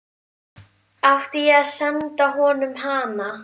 Átti ég að senda honum hana?